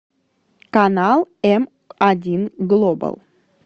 канал м один глобал